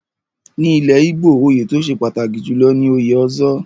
Ní ilẹ̀ Igbo, oyè tó ṣe pàtàkì jùlọ ni òye Ozo.